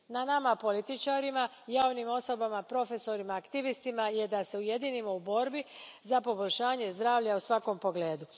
Na nama političarima, javnim osobama, profesorima, aktivistima je da se ujedinimo u borbi za poboljšanje zdravlja u svakom pogledu.